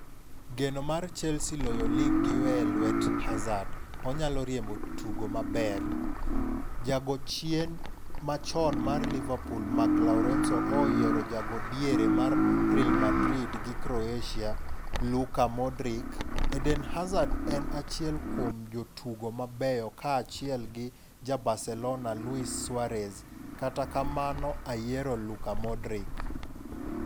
Geno mar Chelsea loyo lig gi weye e lwet Harzard'' 'Onyalo riembo tugo maber.' Jago chien machon mar Liverpool Mark Lawrenson ooyiero ja go diere mar Real Madrid gi Croatia Luka Modric "Eden Hazard en achiel kuom jotugo mabeyo kaachiel gi ja Barcelona Luis Suarez, kata kamano ayiero Luka Modric.